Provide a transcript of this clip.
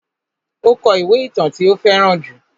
Ó kó ìwé ìtàn tí ó fẹ́ràn jù.